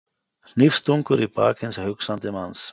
Hnífstungur í bak hins hugsandi manns.